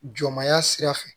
Jɔnmaya sira fɛ